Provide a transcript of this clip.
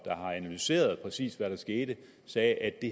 har analyseret præcis hvad der skete sagde at det